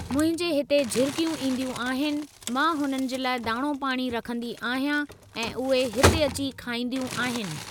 मुंहिंजे हिते झिरकियूं ईंदियूं आहिनि मां हुननि जे लाइ दाणो पाणी रखंदी आहियां ऐं उहे हिते अची खाईंदियूं आहिनि।